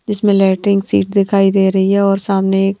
जिसमें lettering sheet दिखाई दे रही है और सामने एक।